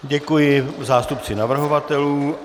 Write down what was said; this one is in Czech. Děkuji zástupci navrhovatelů.